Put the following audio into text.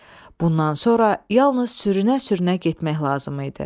Bundan sonra yalnız sürünə-sürünə getmək lazım idi.